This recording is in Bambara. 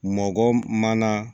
Mɔkɔ mana